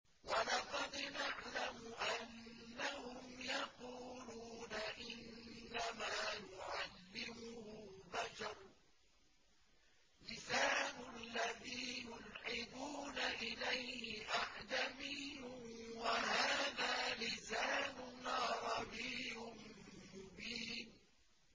وَلَقَدْ نَعْلَمُ أَنَّهُمْ يَقُولُونَ إِنَّمَا يُعَلِّمُهُ بَشَرٌ ۗ لِّسَانُ الَّذِي يُلْحِدُونَ إِلَيْهِ أَعْجَمِيٌّ وَهَٰذَا لِسَانٌ عَرَبِيٌّ مُّبِينٌ